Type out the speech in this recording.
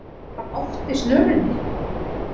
Bröltir hann oft í snörunni,